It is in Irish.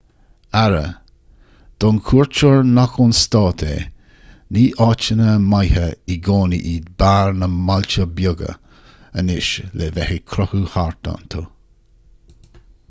aire don chuairteoir nach ón stát é ní áiteanna maithe i gcónaí iad beáir na mbailte beaga anseo le bheith ag crochadh thart iontu